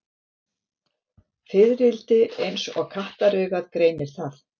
Fiðrildi eins og kattaraugað greinir það.